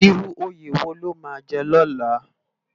Irú óyé wó ló má jè lòlá?